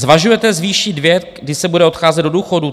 Zvažujete zvýšit věk, kdy se bude odcházet do důchodu?